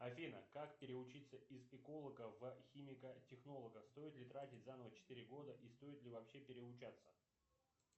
афина как переучиться из эколога в химика технолога стоит ли тратить заново четыре года и стоит ли вообще переучаться